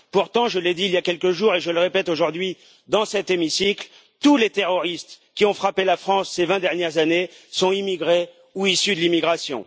Pourtant, je l'ai dit il y a quelques jours, et je le répète aujourd'hui, dans cet hémicycle tous les terroristes qui ont frappé la France ces vingt dernières années sont immigrés ou issus de l'immigration.